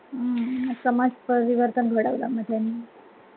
हम्म समाज परीवर्तन घडवलं मग त्यांनी